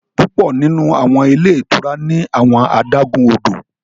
Pupọ nínú àwọn ilé ìtura ní awọn adágún odò